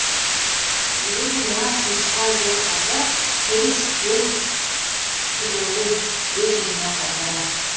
егер де нағыз нұсқа жоқ болса перес төл түлегін өз үйіне қайтарар